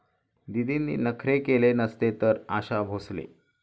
दीदींनी नखरे केले नसते तर... आशा भोसले